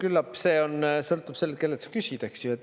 Küllap see sõltub sellest, kellelt küsida.